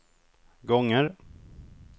gånger